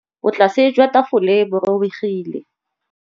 Botlasê jwa tafole bo robegile.